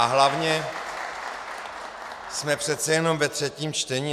A hlavně, jsme přece jenom ve třetím čtení.